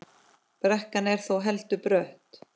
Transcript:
Brekkan er þó heldur brött.